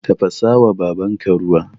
Tafasawa babanka ruwa